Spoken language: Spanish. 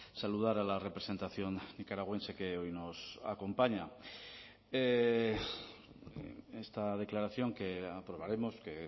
saludar a la representación nicaragüense que hoy nos acompaña esta declaración que aprobaremos que